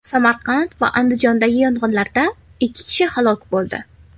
Samarqand va Andijondagi yong‘inlarda ikki kishi halok bo‘ldi.